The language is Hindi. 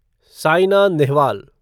सायना नेहवाल